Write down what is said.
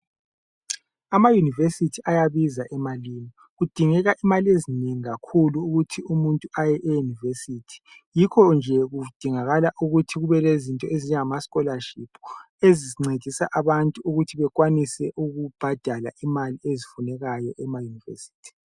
AmaUniversity ayabiza emalini. Kudingeka imalezinengi kakhulu ukuthi umuntu aye eUniversity. Yikho nje kudingakala ukuthi kube lezinto ezinjengama scholarship ezincedisa abantu ukuthi bekwanise ukubhadala imali ezifunekayi ema University.